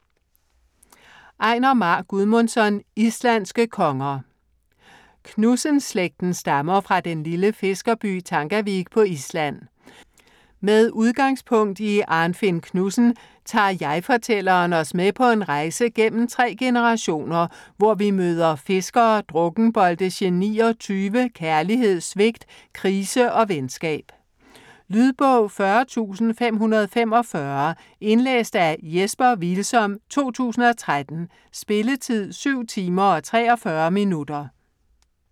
Einar Már Guðmundsson: Islandske konger Knudsen-slægten stammer fra den lille fiskerby Tangavik på Island. Med udgangspunkt i Arnfinn Knudsen tager jeg-fortælleren os med på en rejse gennem tre generationer, hvor vi møder fiskere, drukkenbolte, genier, tyve, kærlighed, svigt, krise og venskab. Lydbog 40545 Indlæst af Jesper Hvilsom, 2013. Spilletid: 7 timer, 43 minutter.